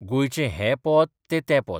गोंयचें हें पोंत ते तें पोंत.